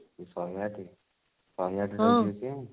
ଶହେ ଆଠ ଶହେ ଆଠ ଯାଇକି ଆସିବା